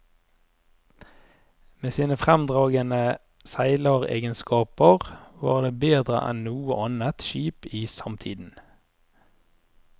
Med sine fremragende seileregenskaper var det bedre enn noe annet skip i samtiden.